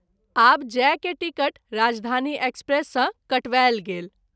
आब’ जाय के टिकट राजधानी एक्सप्रेस सँ कटवायल गेल।